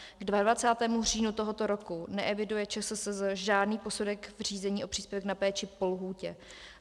K 22. říjnu tohoto roku neeviduje ČSSZ žádný posudek v řízení o příspěvek na péči po lhůtě.